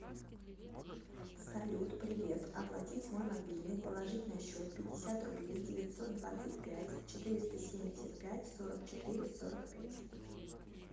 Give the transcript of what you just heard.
салют привет оплатить мой мобильный положить на счет пятьдесят рублей девятьсот двадцать пять четыреста семьдесят пять сорок четыре сорок пять